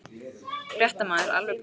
Fréttamaður: Alveg pottþétt?